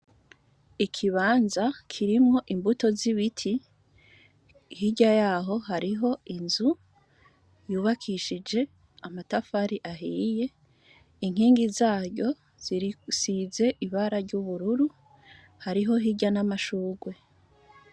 Ikibanza kirimwo imbuto z’ibiti, hirya yaho hariho inzu yubakishije amatafari ahiye, inkingi zayo zisize ibara ry’ubururu hariho hirya n’amashugwe.